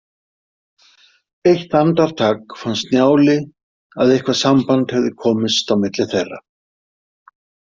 Eitt andartak fannst Njáli að eitthvað samband hefði komist á milli þeirra.